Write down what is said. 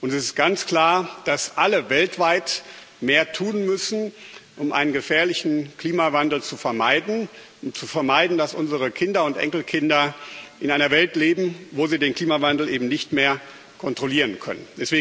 Es ist ganz klar, dass alle weltweit mehr tun müssen, um einen gefährlichen Klimawandel zu vermeiden, um zu vermeiden, dass unsere Kinder und Enkelkinder in einer Welt leben, wo sie den Klimawandel eben nicht mehr kontrollieren können.